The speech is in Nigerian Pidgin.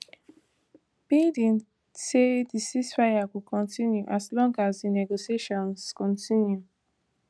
biden say di ceasefire go continue as long as di negotiations continue